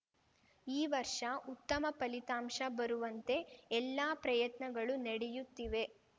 ಈ ವರ್ಷ ಉತ್ತಮ ಫಲಿತಾಂಶ ಬರುವಂತೆ ಎಲ್ಲಾ ಪ್ರಯತ್ನಗಳು ನೆಡೆಯುತ್ತಿವೆ